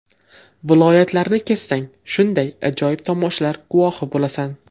Viloyatlarni kezsang, shunday ajoyib tomoshalar guvohi bo‘lasan.